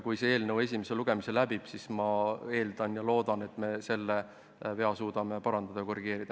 Kui see eelnõu esimese lugemise läbib, siis ma eeldan ja loodan, et suudame selle vea parandada, korrigeerida.